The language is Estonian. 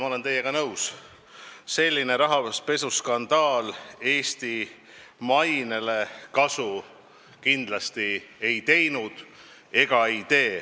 Ma olen teiega nõus: selline rahapesuskandaal Eesti mainele kasu kindlasti pole teinud.